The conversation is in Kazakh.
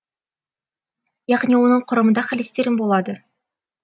яғни оның құрамында холестерин болады